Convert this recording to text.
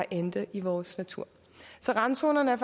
ender i vores natur så randzonerne er